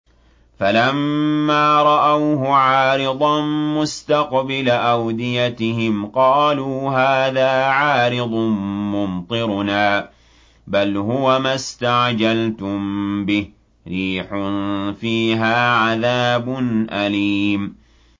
فَلَمَّا رَأَوْهُ عَارِضًا مُّسْتَقْبِلَ أَوْدِيَتِهِمْ قَالُوا هَٰذَا عَارِضٌ مُّمْطِرُنَا ۚ بَلْ هُوَ مَا اسْتَعْجَلْتُم بِهِ ۖ رِيحٌ فِيهَا عَذَابٌ أَلِيمٌ